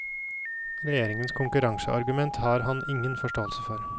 Regjeringens konkurranseargument har han ingen forståelse for.